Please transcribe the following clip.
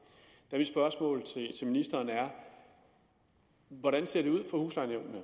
mit spørgsmål til ministeren hvordan ser det ud for huslejenævnene